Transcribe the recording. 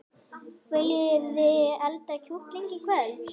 Viljiði elda kjúkling í kvöld?